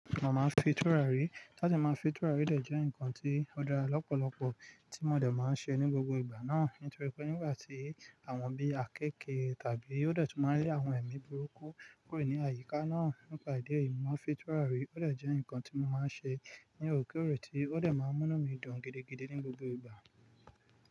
Mo máa ń fi tùràrí, láti máa fi tùràrí dẹ̀ jẹ́ ǹkan tí ó dára lọ́pọ̀lọpọ̀ tí mo dẹ̀ máa ń ṣe ní gbogbo ìgbà náà. Nítorí pé nígbà tí àwọn bí i àkééke tàbí ó dẹ̀ tu máa ń rí àwọn ẹ̀mí burúkú kúrò ní àyíká náà, nípa ìdí èyí mo máa ń fi tùràrí ó dẹ̀ jẹ́ ǹkan tí mo máa ń ṣe ní òòrèkóòrè tí ó dẹ̀ máa ń mú mí dùn gidigidi ní gbogbo ìgbà.